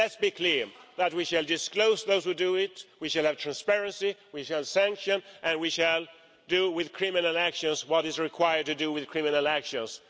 Let's be clear that we shall disclose those who do it, we shall have transparency, we shall sanction, and we shall do with criminal actions what is required to do with the criminal actions.